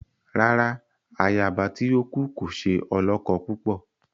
Rárá, àyaba tí o kú kò ṣe olókó púpọ